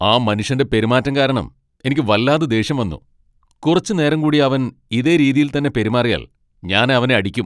ആ മനുഷ്യന്റെ പെരുമാറ്റം കാരണം എനിക്ക് വല്ലാതെ ദേഷ്യം വന്നു. കുറച്ച് നേരം കൂടി അവൻ ഇതേ രീതിയിൽത്തന്നെ പെരുമാറിയാൽ ഞാൻ അവനെ അടിക്കും.